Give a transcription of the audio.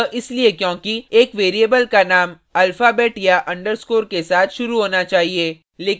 यह इसलिए क्योंकि एक variable का name alphabet या underscore के साथ शुरु होना चाहिए